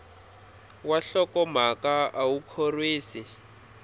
wa nhlokomhaka a wu khorwisi